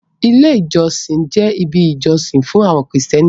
Ilé ìjọsìn jẹ́ ibi ìjọsìn fún àwọn krìstẹ́nì.